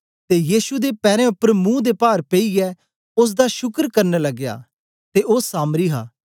ते यीशु दे पैरें उपर मुंह दे पार पेईयै ओसदा शुकर करन लगया ते ओ सामरी हा